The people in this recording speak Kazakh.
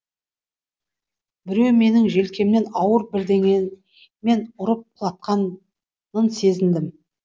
біреуі менің желкемнен ауыр бірдеңемен ұрып құлатқанын сезіндім